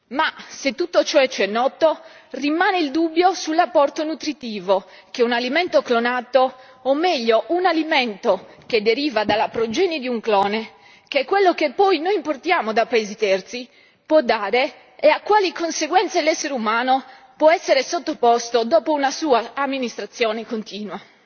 Ma se tutto ciò ci è noto, rimane il dubbio sull'apporto nutritivo che un alimento clonato, o meglio un alimento che deriva dalla progenie di un clone che è quello che poi noi importiamo da paesi terzi può dare, e a quali conseguenze l'essere umano può essere sottoposto dopo una sua somministrazione continua.